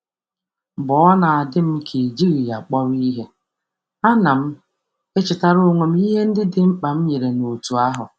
Mgbe m na-enwe mmetụta na enweghị m uru, m na-echetara onwe m banyere onyinye m dị mkpa um nye otu.